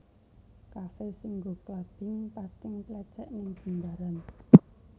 Kafe sing nggo clubbing pating tlecek ning Jimbaran